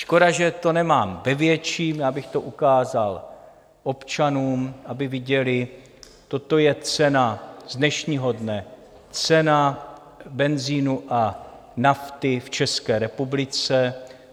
Škoda že to nemám ve větším, já bych to ukázal občanům, aby viděli: Toto je cena z dnešního dne, cena benzinu a nafty v České republice.